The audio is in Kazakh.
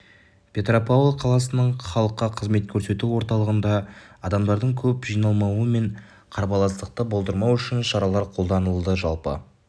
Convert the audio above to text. петропавл қаласының халыққа қызмет көрсету орталығында адамдардың көп жиналмауы мен қарбаластықты болдырмау үшін шаралар қолданылды жалпы